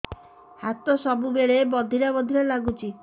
ହାତ ସବୁବେଳେ ବଧିରା ବଧିରା ଲାଗୁଚି